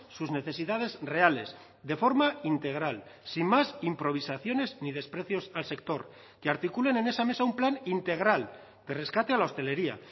sus necesidades reales de forma integral sin más improvisaciones ni desprecios al sector que articulen en esa mesa un plan integral de rescate a la hostelería